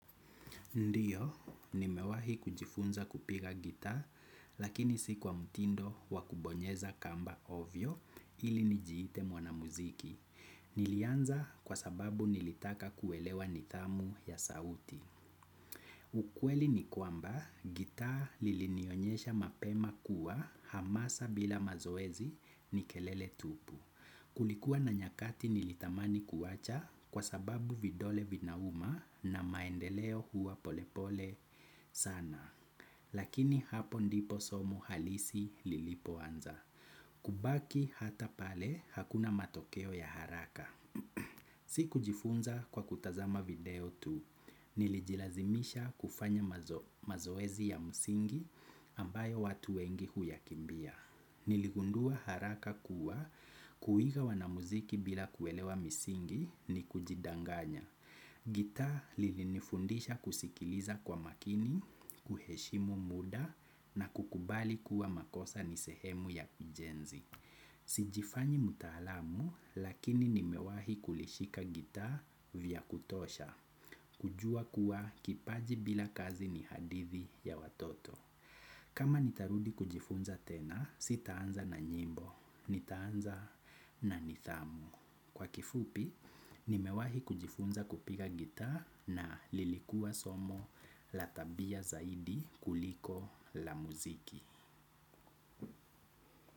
Ndiyo, nimewahi kujifunza kupiga gitaa, lakini si kwa mtindo wakubonyeza kamba hovyo ili nijiite mwanamuziki. Nilianza kwa sababu nilitaka kuelewa nidhamu ya sauti. Ukweli ni kwamba, gitaa lilinionyesha mapema kuwa hamasa bila mazoezi ni kelele tupu. Kulikuwa na nyakati nilitamani kuacha kwa sababu vidole vinauma na maendeleo huwa polepole sana. Lakini hapo ndipo somo halisi lilipoanza. Kubaki hata pale hakuna matokeo ya haraka. Sikujifunza kwa kutazama video tu. Nilijilazimisha kufanya mazoezi ya msingi ambayo watu wengi huyakimbia. Niligundua haraka kuwa kuiga wana muziki bila kuelewa misingi ni kujidanganya. Gitaa lilinifundisha kusikiliza kwa makini, kuheshimu muda na kukubali kuwa makosa ni sehemu ya ujenzi. Sijifanyi mtaalamu lakini nimewahi kulishika gitaa vya kutosha. Kujua kuwa kipaji bila kazi ni hadithi ya watoto. Kama nitarudi kujifunza tena, sitaanza na nyimbo, nitaanza na nidhamu. Kwa kifupi, nimewahi kujifunza kupika gitaa na lilikua somo la tabia zaidi kuliko la muziki.